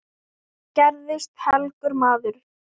Hann gerðist helgur maður.